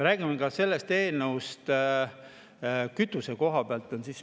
Räägime ka sellest eelnõust kütuse koha pealt.